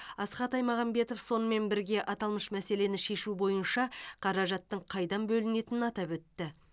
асхат аймағамбетов сонымен бірге аталмыш мәселені шешу бойынша қаражаттың қайдан бөлінетінін атап өтті